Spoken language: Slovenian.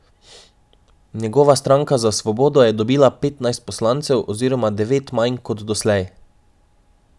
Njegova Stranka za svobodo je dobila petnajst poslancev oziroma devet manj kot doslej.